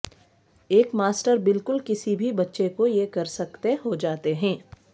ایک ماسٹر بالکل کسی بھی بچے کو یہ کر سکتے ہو جاتے ہیں